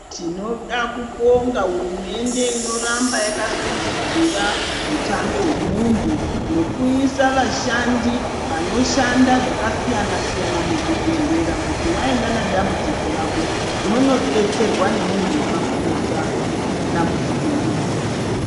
Tinoda kubonga hurumende ino ramba yaka sumudzira hutano hwe muntu nokuisa vashandi vano shanda zvaka siyana siyana mu zvi bhedhlera kuti waenda na dambudziko rako unondo detserwa nge muntu aka fundira dambudziko iroro.